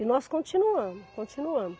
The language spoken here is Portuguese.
E nós continuamos, continuamos.